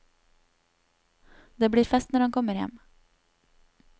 Det blir fest når han kommer hjem.